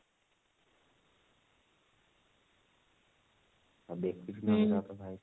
ଆଉ